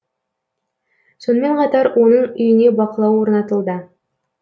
сонымен қатар оның үйіне бақылау орнатылды